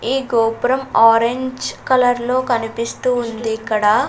ఈ గోపురం orange colour లో కనిపిస్తూ ఉంది ఇక్కడ.